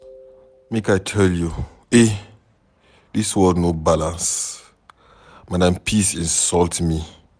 Make I tell you eh, dis world no balance. Madam peace insult me.